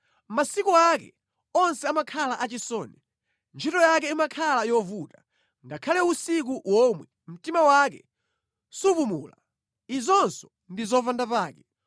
Masiku ake onse amakhala achisoni, ntchito yake imakhala yovuta; ngakhale usiku womwe, mtima wake supumula. Izinso ndi zopandapake.